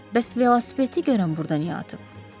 Bəs velosipedi görən burdan niyə atıb?